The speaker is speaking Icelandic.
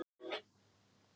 Tækifæri sem ekki má vanrækja